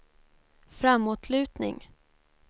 framåtlutning